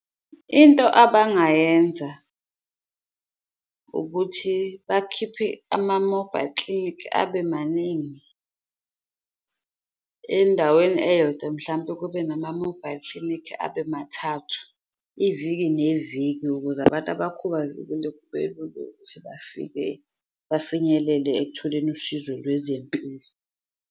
Into abangayenza ukuthi bakhiphe ama-mobile clinic abe maningi endaweni eyodwa, mhlampe kube nama-mobile clinic abe mathathu iviki neviki, ukuze abantu abakhubazekile kube lula ukuthi bafike, bafinyelele ekutholeni usizo lwezempilo.